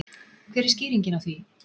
Hver er skýringin á því?